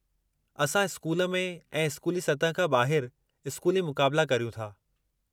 असां स्कूल में ऐं स्कूली सतह खां ॿाहिरि स्कूली मुक़ाबिला करियूं था।